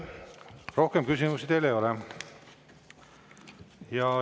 Rohkem küsimusi teile ei ole.